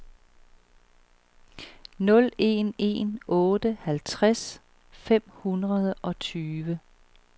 nul en en otte halvtreds fem hundrede og tyve